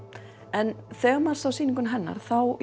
en þegar maður sá sýninguna hennar þá